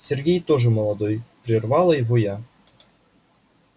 сергей тоже молодой прервала его я